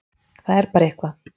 Það er bara eitthvað